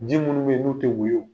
Ji minnu bɛ yen n'u tɛ woyo.